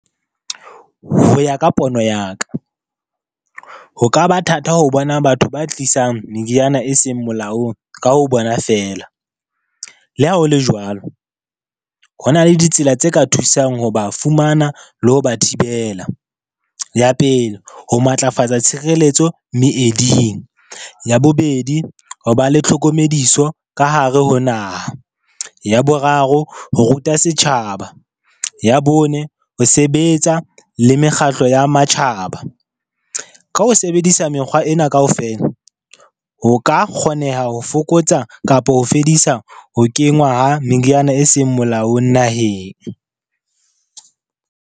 Ho ya ka pono ya ka, ho ka ba thata ho bona batho ba tlisang meriana e seng molaong ka ho bona feela. Le ha ho le jwalo, ho na le ditsela tse ka thusang ho ba fumana le ho ba thibela. Ya pele, ho matlafatsa tshireletso meeding. Ya bobedi, ho ba le tlhokomediso ka hare ho naha. Ya boraro, ho ruta setjhaba. Ya bone, ho sebetsa le mekgatlo ya matjhaba. Ka ho sebedisa mekgwa ena kaofela ho ka kgoneha ho fokotsa kapa ho fedisa ho kenngwa ha meriana e seng molaong naheng.